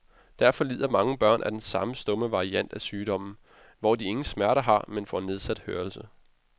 Derfor lider mange børn af den stumme variant af sygdommen, hvor de ingen smerter har, men får nedsat hørelse.